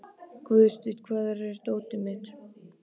Guðstein, hvar er dótið mitt?